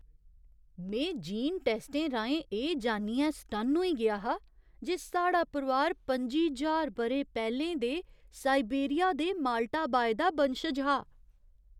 में जीन टैस्टें राहें एह् जानियै सटन्न होई गेआ हा जे साढ़ा परोआर पं'जी ज्हार ब'रे पैह्‌लें दे साइबेरिया दे माल्टा बाय दा बंशज हा।